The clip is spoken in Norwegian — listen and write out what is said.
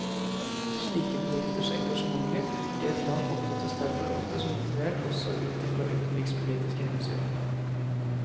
Slike bedrifters engasjementer i et land oppfattes derfor ofte som motivert også ut i fra utenrikspolitiske hensyn.